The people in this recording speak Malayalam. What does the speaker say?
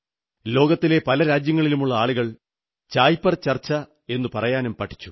ലോകത്തിലെ പല രാജ്യങ്ങളിലുമുള്ള ആളുകൾ ചായ് പേ ചർച്ച എന്നതു പറയാനും പഠിച്ചു